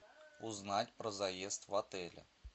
узнать про заезд в отеле